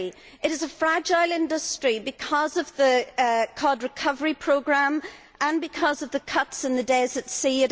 It is a fragile industry because of the cod recovery programme and because of the cuts in the days at sea.